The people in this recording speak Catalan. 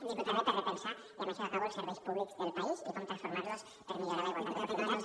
i també per repensar i amb això ja acabo els serveis públics del país i com transformar los per millorar la igualtat d’oportunitats